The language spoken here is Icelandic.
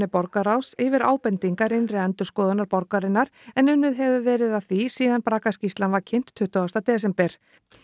borgarráðs yfir ábendingar innri endurskoðunar borgarinnar en unnið hefur verið að því síðan braggaskýrslan var kynnt tuttugasta desember